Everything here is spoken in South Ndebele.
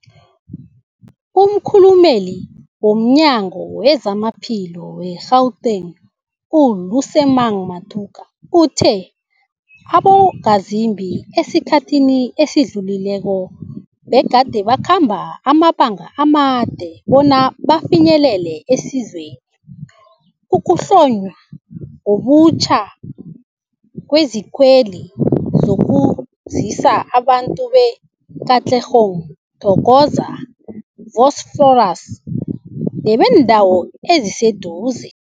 Umkhulumeli womNyango weZamaphilo we-Gauteng, u-Lesemang Matuka uthe abongazimbi esikhathini esidlulileko begade bakhamba amabanga amade bona bafinyelele isizweli. Ukuhlonywa ngobutjha kwezikweli kuzokusiza abantu be-Katlehong, Thokoza, Vosloorus nebeendawo eziseduze.